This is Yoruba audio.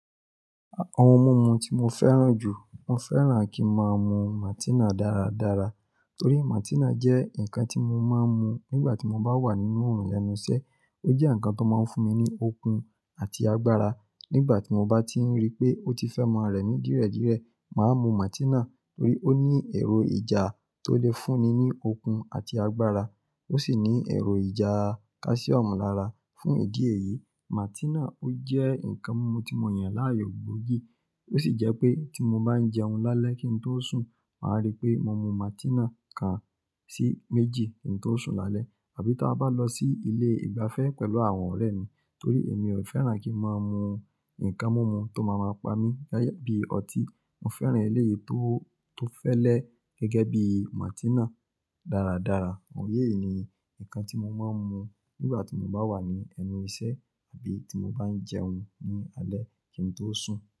Àwọn ohun mímu tí mo fẹ́ràn jù, mo fẹ́ràn kí máa mú Maltina dáradára torí Maltina jẹ́ ǹnkan tí mo máa ń mu nígbà tí mo bá wà nínú ọ̀run lẹnu iṣẹ. Ó jẹ́ ǹnkan tó máa ń fún mi ní okun àti agbára nígbà tí mo bá ti n rí pé ó ti fẹ́ ma rẹ̀ mí díredìrẹ. Màá mu Maltina torí ó ní èrò ìjà tó lè fún mi ní okun àti agbára, ó sì ní èrò ìjà calcium lára. Fún ìdí èyí, Maltina ó jẹ́ ǹnkan mímu tí mo yàn láàyò gbógìí. Ó sì jẹ́ pé tí mo bá ń jẹun lálẹ́ kí n tó sùn, màá rí pé mo mú Maltina kan sí méjì kí n tó sùn lálẹ́ àbí tí a bá lọ sí ilé ìgbafẹ́ pẹ̀lú àwọn ọ̀rẹ́ mi torí èmi ò fẹ́ràn kí n máa mu ǹnkan mímu tó máa máa pa mí láyà bí i ọtí. Mo fẹ́ràn eléyìí tó, tó fẹ́lẹ́ gẹ́gẹ́ bí Maltina dáradára. Òye yìí ni ǹkan tí mo máa ń mu nígbà tí mo bá wà ní ẹnu iṣẹ́ àbí tí mo bá ń jẹun ní alẹ́ kí n tó sùn.